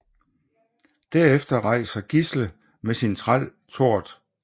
Derefter rejser Gisle med sin træl Tord